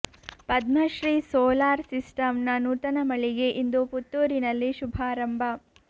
Padmashri solar system ನ ನೂತನ ಮಳಿಗೆ ಇಂದು ಪುತ್ತೂರಿನಲ್ಲಿ ಶುಭಾರಂಭ